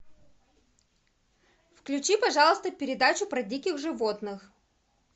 включи пожалуйста передачу про диких животных